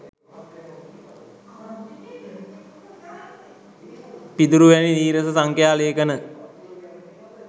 පිදුරු වැනි නීරස සංඛ්‍යා ලේඛන